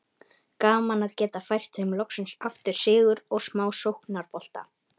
Gaman að geta fært þeim loksins aftur sigur og smá sóknarbolta!